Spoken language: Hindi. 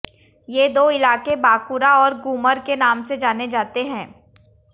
ये दो इलाक़े बाक़ूरा और ग़ूमर के नाम से जाने जाते हैं